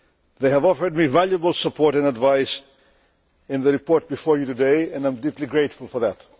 They have offered me valuable support and advice in the report before you today, and I am deeply grateful for that.